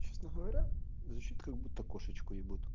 честно говоря звучит как будто кошечку ебут